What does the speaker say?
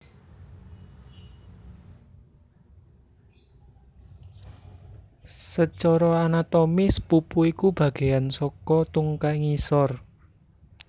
Sacara anatomis pupu iku bagéan saka tungkai ngisor